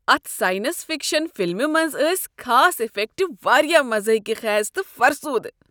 اتھ science fiction فلمہ منٛز ٲسۍ خاص افیکٹ واریاہ مضحکہ خیز تہٕ فرسودٕہ۔